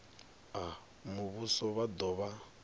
a muvhuso vha do vha